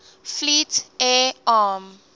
fleet air arm